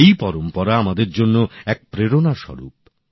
এই পরম্পরা আমাদের জন্য প্রেরণাস্বরূপ